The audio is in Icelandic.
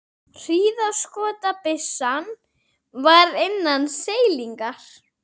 Hríðskotabyssan var innan seilingar.